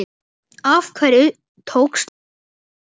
Af hverju tókstu Bjarma?